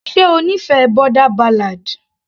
ṣe ó nífẹ̀ẹ́ boarder ballad.